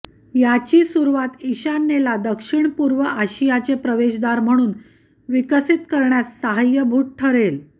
याची सुरुवात ईशान्येला दक्षिणपूर्व आशियाचे प्रवेशद्वार म्हणून विकसित करण्यास सहाय्यभूत ठरेल